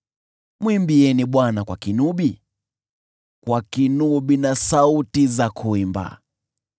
mwimbieni Bwana kwa kinubi, kwa kinubi na sauti za kuimba,